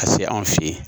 Ka se anw fe yen